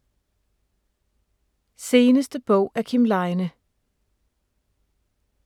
Seneste bog af Kim Leine